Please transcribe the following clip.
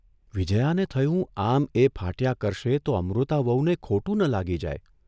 વિજયાને થયું આમ એ ફાટ્યા કરશે તો અમૃતા વહુને ખોટું ન લાગી જાય !